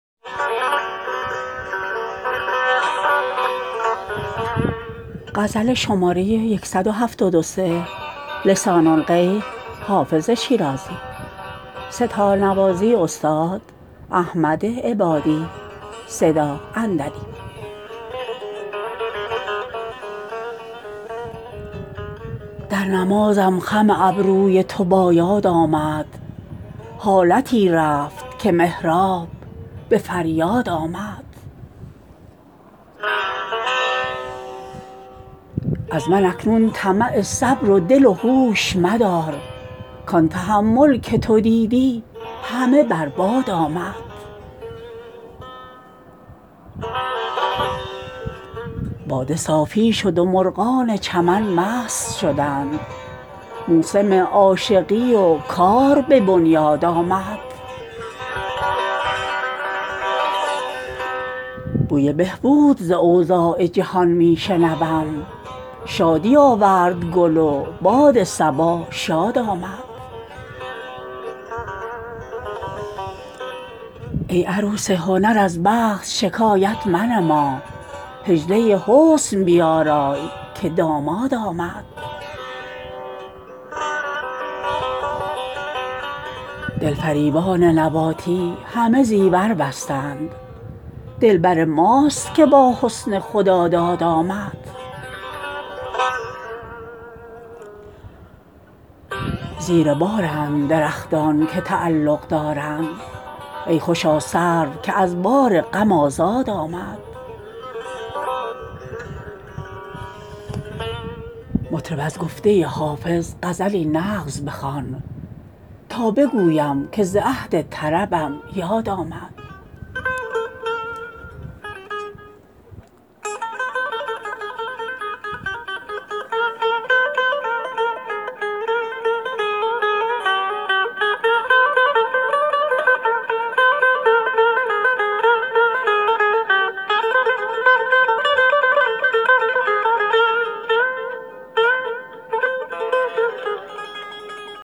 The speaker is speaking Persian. در نمازم خم ابروی تو با یاد آمد حالتی رفت که محراب به فریاد آمد از من اکنون طمع صبر و دل و هوش مدار کان تحمل که تو دیدی همه بر باد آمد باده صافی شد و مرغان چمن مست شدند موسم عاشقی و کار به بنیاد آمد بوی بهبود ز اوضاع جهان می شنوم شادی آورد گل و باد صبا شاد آمد ای عروس هنر از بخت شکایت منما حجله حسن بیارای که داماد آمد دلفریبان نباتی همه زیور بستند دلبر ماست که با حسن خداداد آمد زیر بارند درختان که تعلق دارند ای خوشا سرو که از بار غم آزاد آمد مطرب از گفته حافظ غزلی نغز بخوان تا بگویم که ز عهد طربم یاد آمد